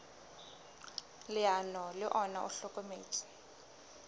leano le ona o hlokometse